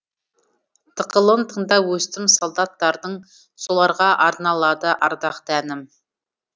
тықылын тыңдап өстім солдаттардың соларға арналады ардақты әнім